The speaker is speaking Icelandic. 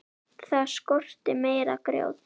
Það skorti meira grjót.